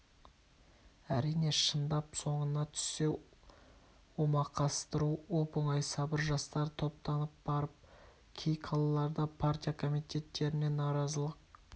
әрине шындап соңына түссе омақастыру оп-оңай сабыр жастар топтанып барып кей қалаларда партия комитеттеріне наразылық